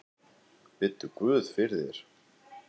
Biddu guð fyrir þér.